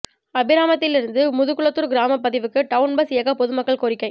அபிராமத்திலிருந்து முதுகுளத்தூர் கிராம பகுதிக்கு town bus இயக்க பொதுமக்கள் கோரிக்கை